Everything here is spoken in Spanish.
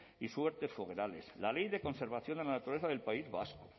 y la ley de conservación de la naturaleza del país vasco